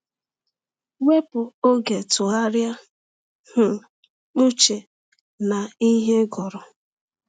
Wepụ oge tụgharịa um uche na ihe ị ị gụrụ.